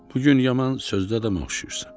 Bu gün yaman sözdə yana oxşayırsan.